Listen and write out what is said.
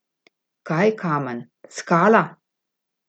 Kaj kamen, skala!